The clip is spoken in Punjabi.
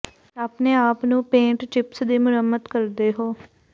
ਆਪਣੇ ਆਪ ਨੂੰ ਪੇੰਟ ਚਿਪਸ ਦੀ ਮੁਰੰਮਤ ਕਰਦੇ ਹੋ